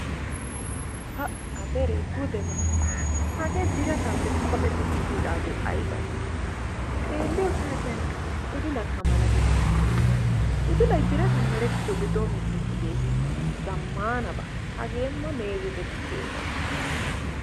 Pa! La dere gudeba. Hagee biraatape qoxxetidi kiyidage aybay? Xeeliyo saatiyan udulaka malates. Udulay birataan meretiyoge dometichideye? Zammanaba! Hagee ma meezetetibenaba.